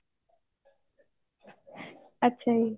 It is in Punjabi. ਅੱਛਾ ਜੀ